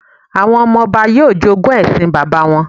Àwọn ọmọ-ọba yóò jogún ẹṣin bàbá wọn